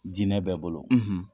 Diinɛ bɛɛ bolo,